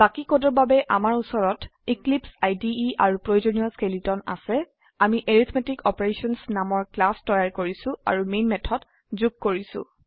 বাকি কোডৰ বাবে আমাৰ উচৰত এক্লিপছে ইদে আৰু প্ৰয়োজনীয় স্কেলেটন আছে আমিArithmetic অপাৰেশ্যনছ নামৰ ক্লাস তৈয়াৰ কৰিছো আৰু মেন মেথড যুগ কৰিছো